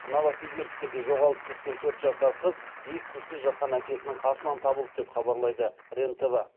новосибирскіде жоғалып кеткен төрт жасар қыз ес түзсіз жатқан әкесінің қасынан табылды деп хабарлайды рен тв